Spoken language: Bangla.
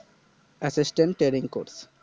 Assistant Training Course